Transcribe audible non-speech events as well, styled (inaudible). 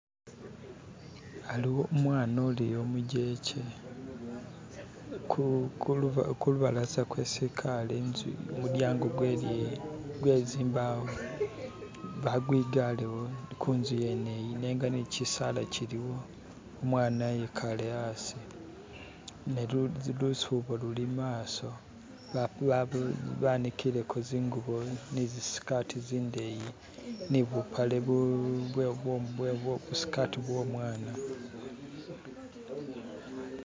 (skip) aliwo umwana uliyo umujekye kulubalaza kwesi ikale intsu mudyango gwezimbawo bagwigalewo kunzu yeneyi nenga nayo kyisala kyiliwo umwana ikale asi nelusubo luli imaso banikileko zingubo nizisikati zindeyi ni bupale, busikati bwomwana (skip)